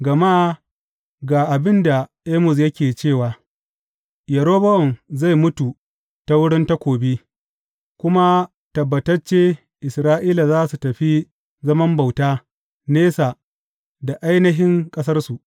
Gama ga abin da Amos yake cewa, Yerobowam zai mutu ta wurin takobi, kuma tabbatacce Isra’ila za su tafi zaman bauta, nesa da ainihin ƙasarsu.’